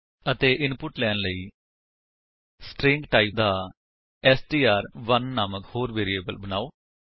ਅਤੇ ਇਨਪੁਟ ਲੈਣ ਲਈ ਸਟ੍ਰਿੰਗ ਟਾਈਪ ਦਾ ਐਸਟੀਆਰ1 ਨਾਮਕ ਹੋਰ ਵੇਰਿਏਬਲ ਬਨਾਓ